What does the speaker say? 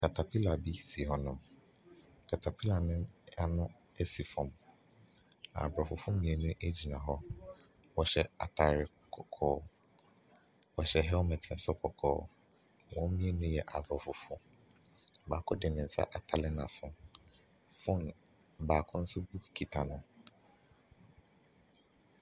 Catapiller bi si hɔnom catapiller no ano si fam. Aborɔfofɔo mmienu gyina hɔ. Wɔhyɛ atadeɛ kɔkɔɔ. Wɔhyɛ helmet soro kɔkɔɔ. Wɔn mmienu yɛ Aborɔfofoɔ. Baako de ne nsa atare n'aso. Phone baako nso book kita no.